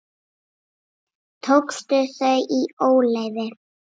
Tókstu þau í óleyfi?